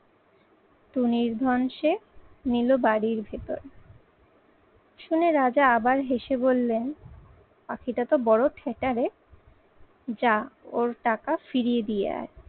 টুনির ধন সে নিল বাড়ির ভেতর। শুনে রাজা আবার হেসে বললেন, পাখিটা তো বড় ধ্যাটা রে। যা ওর টাকা ফিরিয়ে দিয়ে আয়।